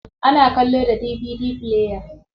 Ana kallo da DVD player.